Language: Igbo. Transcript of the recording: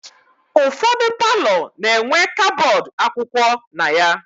Ụfọdụ paalọ na-enwe kabọọdụ akwụkwọ na ya.